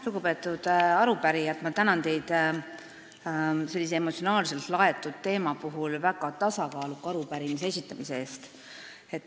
Lugupeetud arupärijad, tänan teid sellise emotsionaalselt laetud teema kohta väga tasakaaluka arupärimise esitamise eest!